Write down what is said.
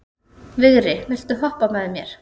Vigri, viltu hoppa með mér?